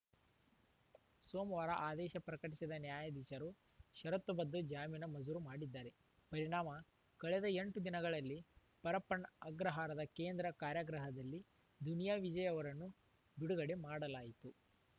ಸೋಮವಾರ ಆದೇಶ ಪ್ರಕಟಿಸಿದ ನ್ಯಾಯಾಧೀಶರು ಷರತ್ತುಬದ್ಧ ಜಾಮೀನು ಮಜೂರು ಮಾಡಿದ್ದಾರೆ ಪರಿಣಾಮ ಕಳೆದ ಎಂಟು ದಿನಗಳಿಂದ ಪರಪ್ಪನ ಅಗ್ರಹಾರದ ಕೇಂದ್ರ ಕಾರಾಗೃಹದಲ್ಲಿ ದುನಿಯಾ ವಿಜಯ್‌ ಅವರನ್ನು ಬಿಡುಗಡೆ ಮಾಡಲಾಯಿತು